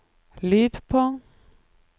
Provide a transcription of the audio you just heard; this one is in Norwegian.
lyd på